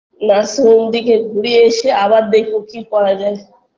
nursing home থেকে ঘুরে এসে আবার দেখবো কি করা যায়